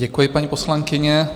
Děkuji, paní poslankyně.